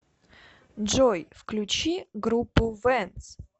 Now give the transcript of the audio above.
джой включи группу вэнс